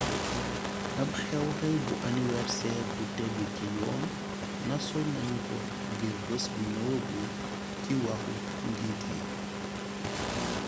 ab xew xew bu aniwerseer bu tegu ci yoon nasoon nanu ko ngir bes bu ñëwëgul ci waxu njiit yi